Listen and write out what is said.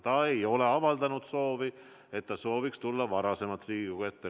Ta ei ole avaldanud soovi tulla varem Riigikogu ette.